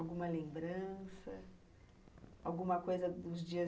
Alguma lembrança... Alguma coisa dos dias